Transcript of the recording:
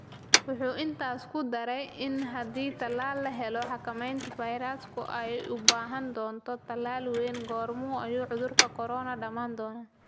wuxuu intaas ku daray in haddii tallaal la helo, xakameynta fayrasku ay u baahan doonto "dadaal weyn", goorma ayuu cudurka corona dhammaan doonaa?